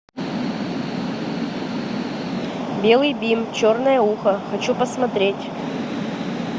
белый бим черное ухо хочу посмотреть